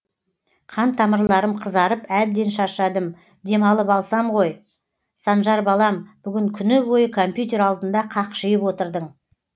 қан тамырларым қызарып әбден шаршадым демалып алсам ғой санжар балам бүгін күні бойы компьютер алдында қақшиып отырдың